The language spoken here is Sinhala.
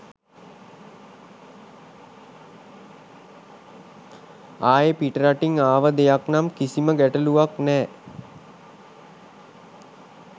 ආයෙ පිටරටින් ආව දෙයක් නම් කිසිම ගැටළුවක් නෑ.